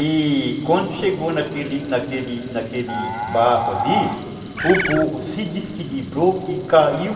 E quando chegou naquele naquele naquele barro ali, o burro se desequilibrou e caiu.